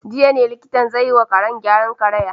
Jiya ne likitan zai yi wa karen gyaran karaya.